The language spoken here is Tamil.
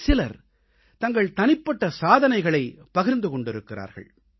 சிலர் தங்கள் தனிப்பட்ட சாதனைகளைப் பகிர்ந்து கொண்டிருக்கிறார்கள்